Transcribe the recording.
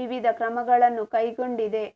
ವಿವಿಧ ಕ್ರಮಗಳನ್ನು ಕೈಗೊಂಡಿದೆ